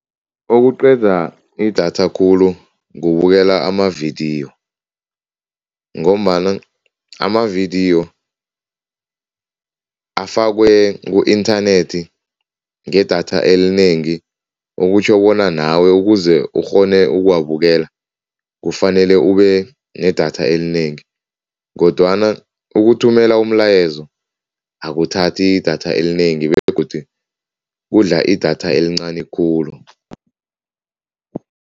Okuqeda idatha khulu kubukela amavidiyo ngombana amavidiyo afakwe ku-inthanethi ngedatha elinengi. Okutjho bona nawe ukuze ukghone ukuwabukela kufanele ubenedatha elinengi kodwana ukuthumela umlayezo akuthathi idatha elinengi begodu kudla idatha elincani khulu.